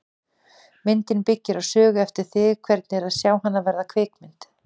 Myndin byggir á sögu eftir þig, hvernig er að sjá hana verða kvikmynd?